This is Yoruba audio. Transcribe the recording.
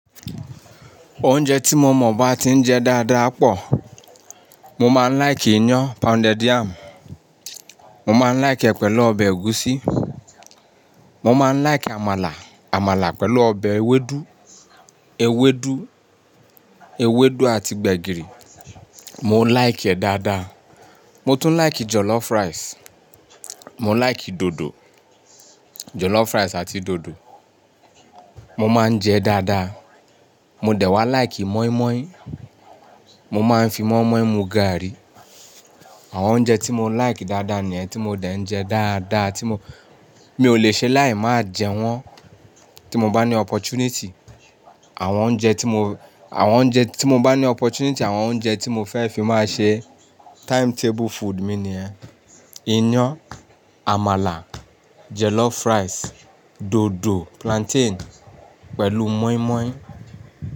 Oúnjẹ tí mo mọ̀ bá ti ń jẹ dáadáa pọ̀. Mo máa ń like iyán, pounded yam. Mo máa ń like ẹ̀ pẹ̀lú ọbẹ̀ ẹ̀gúsí. Mo máa ń like àmàlà, àmàlà pẹ̀lú ọbẹ̀ ewédú, ewédú, ewédú àti gbẹ̀gìrì. Mo like ẹ̀ dáadáa. Mo tún like jollof rice. Mo like dòdò, jollof rice àti dòdò. Mo máa ń jẹ dáadáa. Mo dẹ̀ wá like mọ́ímọ́í. Mo máa ń fi mọ́ímọ́í mu gàárì. Àwọn oúnjẹ tí mo like dáadáa ni ẹ̀, tí mo dẹ̀ ń jẹ dáadáa, tí mo, mi ò le ṣe láì máa jẹ wọ́n. Tí mo bá ní opportunity, àwọn oúnjẹ tí mo, àwọn oúnjẹ tí mo bá ní opportunity àwọn oúnjẹ tí mo fẹ́ fi máa ṣe timetable food mi ni ẹ̀: iyán, àmàlà, jollof rice, dòdò, plantain pẹ̀lú mọ́ímọ́í.